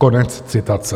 Konec citace.